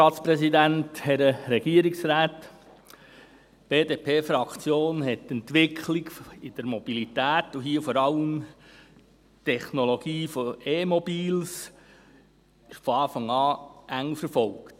Die BDP-Fraktion hat die Entwicklung der Mobilität und hier vor allem die Technologie von E-Mobilen von Anfang an eng verfolgt.